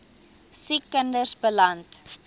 siek kinders beland